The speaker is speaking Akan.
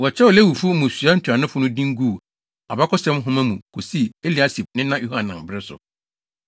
Wɔkyerɛw Lewifo mmusua ntuanofo no din guu Abakɔsɛm Nhoma mu kosii Eliasib nena Yohanan bere so.